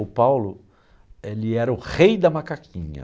O Paulo, ele era o rei da macaquinha.